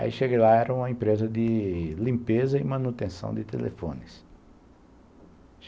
Aí cheguei lá, era uma empresa de limpeza e manutenção de telefones.